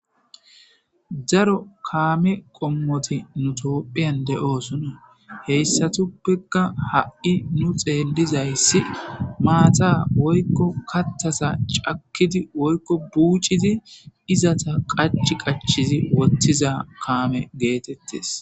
Daro kaame qommoti nu toophiyan de7oosuna heyssatuppeka ha'i nu xeelizayssi maata woykko kattasa cakkidi woykko buucidi izata qach qachizi wottiza kaame geetettes.